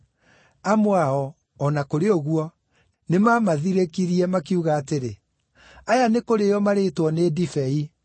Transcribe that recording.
Amwe ao, o na kũrĩ ũguo, nĩmamathirĩkirie, makiuga atĩrĩ, “Aya nĩkũrĩĩo marĩĩtwo nĩ ndibei.”